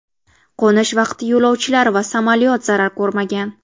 Qo‘nish vaqti yo‘lovchilar va samolyot zarar ko‘rmagan.